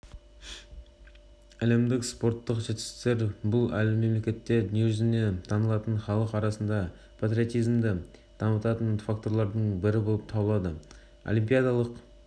әлемдік спорттық жетістіктер бұл мемлекетті дүниежүзіне танытатын халық арасында патриотизмді дамытатын факторлардың бірі болып табылады олимпиадалық